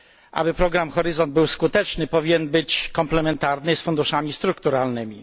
Aby program Horyzont był skuteczny, powinien być komplementarny z funduszami strukturalnymi.